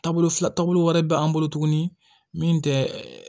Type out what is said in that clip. Taabolo fila taabolo wɛrɛ bɛ an bolo tuguni min tɛ ɛ